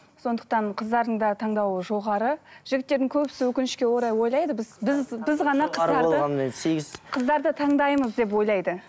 сондықтан қыздардың да таңдауы жоғары жігіттердің көбісі өкінішке орай ойлайды біз біз біз ғана қыздарды таңдаймыз деп ойлайды